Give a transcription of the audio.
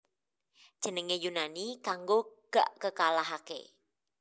Jenengne Yunani kanggo Gak Kekalahake